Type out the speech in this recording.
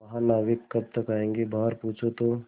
महानाविक कब तक आयेंगे बाहर पूछो तो